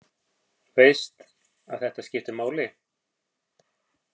Veist að þetta skiptir máli.